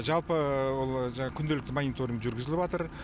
жалпы күнделікті мониторинг жүрігізіліп жатыр